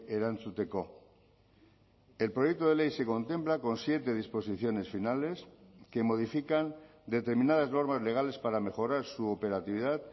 erantzuteko el proyecto de ley se contempla con siete disposiciones finales que modifican determinadas normas legales para mejorar su operatividad